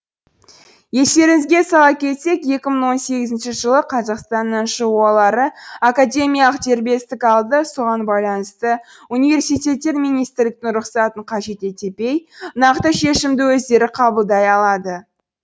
естеріңізге сала кетсек екі мың он сегізінші жылы қазақстанның жоо лары академиялық дербестік алды соған байланысты университеттер министрліктің рұқсатын қажет етепей нақты шешімді өздері қабылдай алады